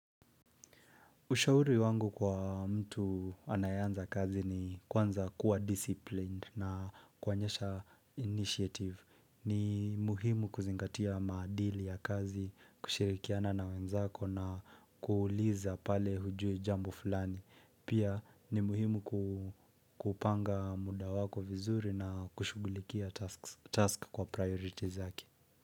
Ushauri wangu kwa mtu anayeanza kazi ni kwanza kuwa disciplined na kuanyesha initiative. Ni muhimu kuzingatia madili ya kazi, kushirikiana na wenzako na kuuliza pale hujue jambo fulani. Pia ni muhimu kupanga muda wako vizuri na kushugulikia tasks task kwa priorities yake.